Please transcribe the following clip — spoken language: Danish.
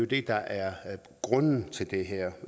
det der er grunden til det her